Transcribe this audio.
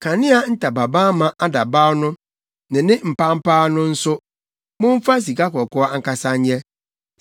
Kanea ntamabamma adabaw no ne ne mpampaa no nso, momfa sikakɔkɔɔ ankasa nyɛ.